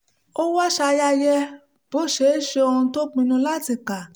ó wá ṣayẹyẹ bó ṣe ṣe ohun tó pinnu láti kà